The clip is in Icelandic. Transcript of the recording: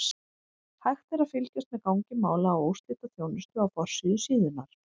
Hægt er að fylgjast með gangi mála á úrslitaþjónustu á forsíðu síðunnar.